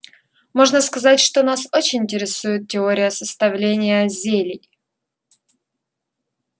можно сказать что нас очень интересует теория составления зелий